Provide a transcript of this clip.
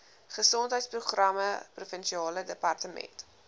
gesondheidsprogramme provinsiale departement